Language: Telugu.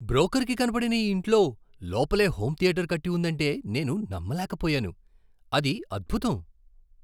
బ్రోకర్కి కనపడని ఈ ఇంట్లో లోపలే హోమ్ థియేటర్ కట్టి ఉందంటే నేను నమ్మలేకపోయాను. అది అద్భుతం!